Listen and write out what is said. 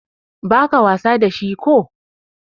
ba ka wasa da shi ko?